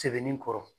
Sebeninkɔrɔ